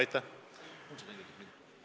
Aitäh!